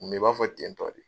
Mɛ i b'a fɔ ten tɔ de.